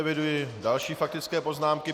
Eviduji další faktické poznámky.